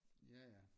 Ja ja